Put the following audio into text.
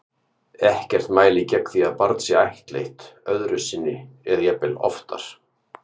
Ekkert mælir gegn því að barn sé ættleitt öðru sinni eða jafnvel oftar.